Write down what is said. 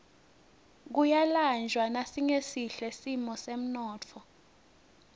kuyalanjwa nasingesihle simo semnotfo